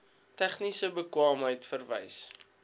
tegniese bekwaamheid verwys